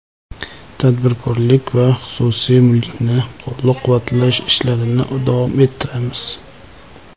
Tadbirkorlik va xususiy mulkni qo‘llab-quvvatlash ishlarini davom ettiramiz.